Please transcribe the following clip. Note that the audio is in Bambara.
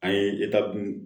An ye dun